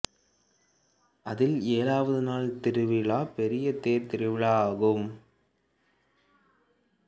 அதில் ஏழாவது நாள் திருவிழா பெரிய தேர் திருவிழா ஆகும்